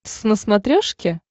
твз на смотрешке